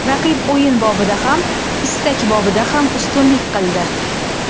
Raqib o‘yin bobida ham, istak borasida ham ustunlik qildi.